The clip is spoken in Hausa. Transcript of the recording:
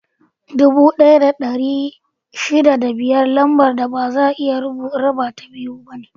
Dubu ɗaya da ɗari shida da biyar Lambar da baza a iya rabata biyu ne.